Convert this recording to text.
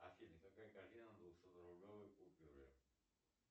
афина какая картина на двухсотрублевой купюре